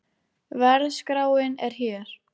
Verðskráin er hér